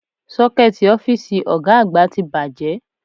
Ṣọ́kẹ́ẹ̀tì ọ́fíìsì Ọ̀ga àgbà ti bàjẹ́